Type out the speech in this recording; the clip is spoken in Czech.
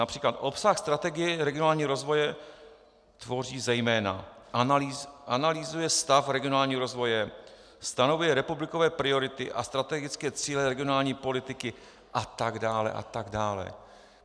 Například obsah strategie regionálního rozvoje tvoří zejména: "analyzuje stav regionálního rozvoje, stanovuje republikové priority a strategické cíle regionální politiky", a tak dále, a tak dále.